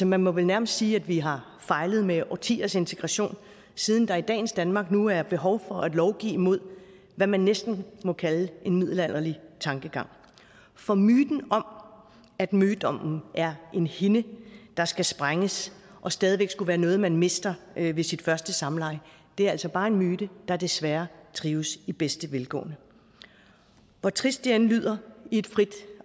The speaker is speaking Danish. man må vel nærmest sige at vi har fejlet med årtiers integration siden der i dagens danmark nu er behov for at lovgive mod hvad man næsten må kalde en middelalderlig tankegang for myten om at mødommen er en hinde der skal sprænges og stadig væk skulle være noget man mister ved sit første samleje er altså bare en myte der desværre trives i bedste velgående hvor trist det end lyder i et frit